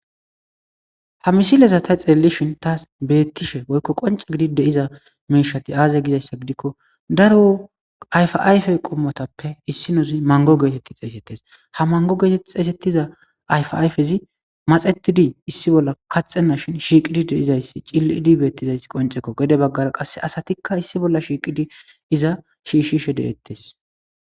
Ha misilezata xeellishin taas beettishe boykko qonca gidi deiza meishati aaze gizayssa gidikko daro ayfayfe qommotappe issinozi mango geetetti xeesettes ha mango geetet xeesettiza ayfayfezi maxetidi issi bolla kaxena shin shiiqidi deizayssi ciliidi beettizayss qoncekko gede baggara qasse asatikka issi bolla shiiqidi iza shiishishe deettes